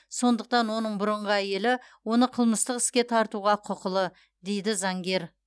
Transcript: сондықтан оның бұрынғы әйелі оны қылмыстық іске тартуға құқылы дейді заңгер